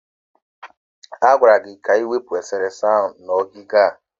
A gwara gị ka ị wepụ esere ese ahụ n'ogige a!